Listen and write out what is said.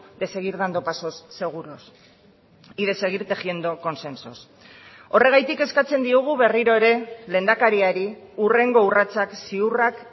de seguir dando pasos seguros y de seguir tejiendo consensos horregatik eskatzen diogu berriro ere lehendakariari hurrengo urratsak ziurrak